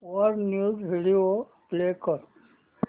वर news video play कर